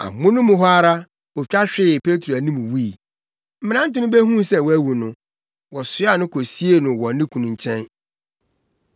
Amono mu hɔ ara, otwa hwee Petro anim wui. Mmerante no behuu sɛ wawu no, wɔsoaa no kosiee no wɔ ne kunu nkyɛn.